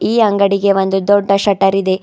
ಈ ಅಂಗಡಿಗೆ ಒಂದು ದೊಡ್ಡ ಶಟರ್ ಇದೆ.